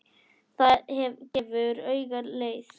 Það gefur auga leið